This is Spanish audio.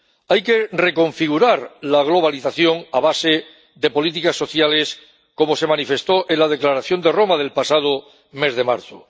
Hay que reconfigurar la globalización a base de políticas sociales, como se manifestó en la Declaración de Roma del pasado mes de marzo.